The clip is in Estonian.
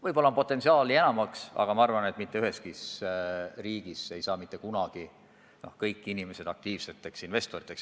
Võib-olla on potentsiaali enamaks, aga ma arvan, et mitte üheski riigis ei saa mitte kunagi kõik inimesed aktiivseteks investoriteks.